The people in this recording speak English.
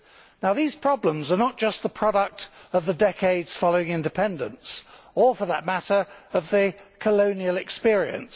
Now these problems are not just the product of the decades following independence or, for that matter, of the colonial experience.